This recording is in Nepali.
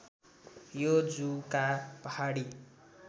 यो जुका पहाडी